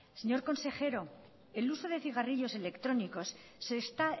señor consejero el uso de cigarrillos electrónicos se está